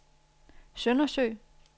Søndersø